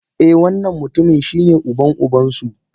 Eh wannan mutumin shine uban uban su.